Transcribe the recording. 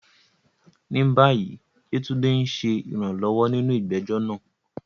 Ní báyìí, Yetunde ń ṣe ìrànlọ́wọ́ nínú ìgbẹ́jọ́ náà.